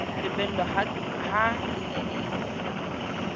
lebellwa ka ha e ne